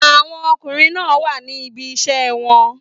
Àwọn ọkùnrin náà wà ní ibi iṣẹ́ wọn.